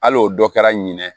Al'o dɔ kɛra ɲinɛ